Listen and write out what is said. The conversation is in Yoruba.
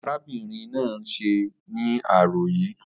Arábìnrin náà ń ṣẹ́ ní àárọ̀ yìí